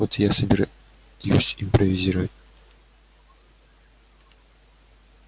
вот я и собираюсь импровизировать